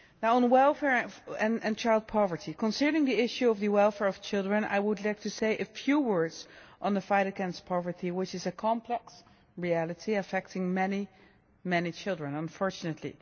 On welfare and child poverty concerning the issue of the welfare of children, I would like to say a few words on the fight against poverty, which is a complex reality affecting many children unfortunately.